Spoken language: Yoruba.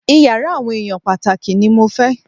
Iyàrá àwọn èèyàn pàtàkì ní mo fẹ́!